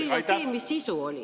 Ainult siis see, mis sisu oli.